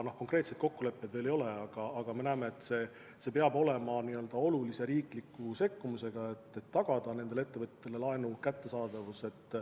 Konkreetseid kokkuleppeid veel ei ole, aga me näeme, et vajalik on olulisel määral riiklik sekkumine, et tagada teatud ettevõtetele laenu kättesaadavus.